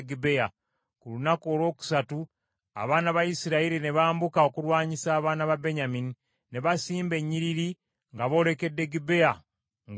Ku lunaku olwokusatu abaana ba Isirayiri ne bambuka okulwanyisa abaana ba Benyamini ne basimba ennyiriri nga boolekedde Gibea ng’olulala.